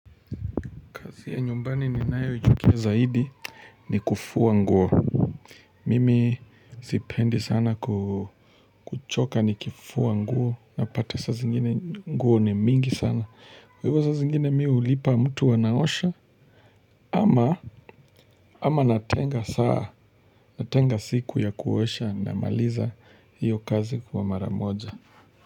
Kazi ya nyumbani ninayoichukia zaidi ni kufua nguo. Mimi sipendi sana ku kuchoka nikifua nguo unapata saa zingine nguo ni mingi sana. Kwa hivyo saa zingine mimi hulipa mtu anaosha ama ama natenga saa natenga siku ya kuosha namaliza hiyo kazi kwa mara moja.